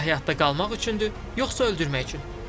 Nüvə həyatda qalmaq üçündür, yoxsa öldürmək üçün?